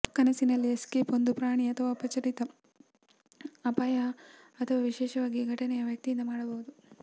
ಕನಸಿನಲ್ಲಿ ಎಸ್ಕೇಪ್ ಒಂದು ಪ್ರಾಣಿ ಅಥವಾ ಅಪರಿಚಿತ ಅಪಾಯ ಅಥವಾ ವಿಶೇಷವಾಗಿ ಘಟನೆಯ ವ್ಯಕ್ತಿಯಿಂದ ಮಾಡಬಹುದು